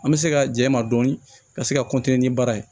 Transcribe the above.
An bɛ se ka ja ma dɔɔni ka se ka ni baara ye